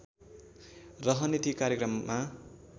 रहने ती कार्यक्रममा